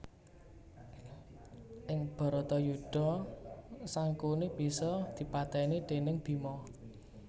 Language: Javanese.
Ing Bharatayudha Sangkuni bisa dipatèni déning Bima